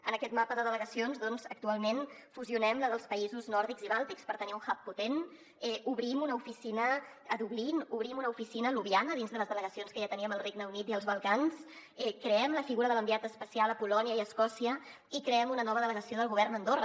en aquest mapa de delegacions doncs actualment fusionem la dels països nòrdics i bàltics per tenir un hub potent obrim una oficina a dublín obrim una oficina a ljubljana dins de les delegacions que ja teníem al regne unit i els balcans creem la figura de l’enviat especial a polònia i escòcia i creem una nova delegació del govern a andorra